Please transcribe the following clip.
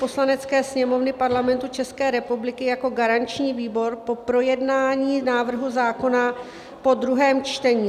Poslanecké sněmovny Parlamentu České republiky jako garanční výbor po projednání návrhu zákona po druhém čtení: